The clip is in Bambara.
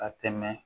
Ka tɛmɛ